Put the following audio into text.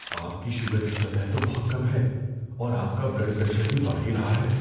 آپ کی شوگر کی سطح تو بہت کم ہے، اور آپ کا بلڈ پریشر بھی بڑھ ہی رہا ہے۔